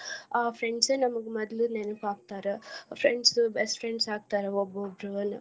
ಆ friends ನಮ್ಗ ಮೊದ್ಲು ನೆನಪ್ ಆಗ್ತಾರ friends ಉ best friends ಆಗ್ತಾರ ಒಬ್ಬೊಬ್ರು